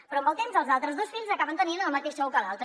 però amb el temps els altres dos fills acaben tenint el mateix sou que l’altre